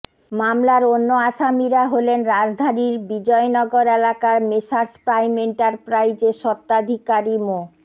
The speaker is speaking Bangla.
মামলার অন্য আসামিরা হলেন রাজধানীর বিজয়নগর এলাকার মেসার্স প্রাইম এন্টারপ্রাইজের স্বত্বাধিকারী মো